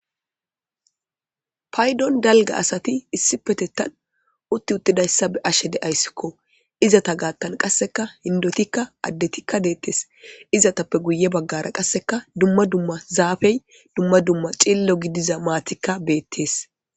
Payidoni daligga gidida assati utti utti deyisa bea'she deyasiko. Izata gathani qassi indotika adetika deyesi izatape guye bagara qasi duma duma zafeyi duma duma cillo gidiza matika betessi.